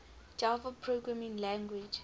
java programming language